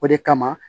O de kama